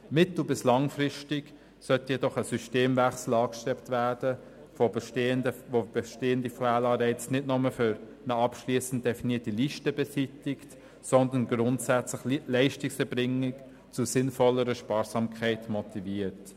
Mittel- bis langfristig sollte jedoch ein Systemwechsel angestrebt werden, der bestehende Fehlanreize nicht nur für eine abschliessend definierte Liste beseitigt, sondern grundsätzlich die Leistungserbringer zu sinnvollerer Sparsamkeit motiviert.